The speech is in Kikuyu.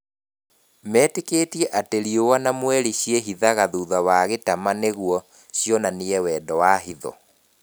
Metĩkĩtie atĩ riũa na mweri ciehĩthaga thutha wa gĩtaama nĩguo cionanie wendo na hitho.